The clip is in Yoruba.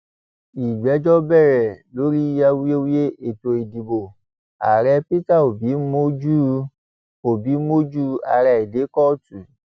ìgbẹjọ bẹrẹ lórí awuyewuye ètò ìdìbò ààrẹ peter obi mójú obi mójú ààrá ẹ dé kóòtù